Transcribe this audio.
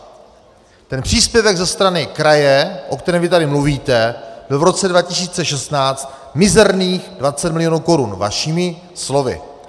Ten příspěvek ze strany kraje, o kterém vy tady mluvíte, byl v roce 2016 mizerných 20 milionů korun vašimi slovy.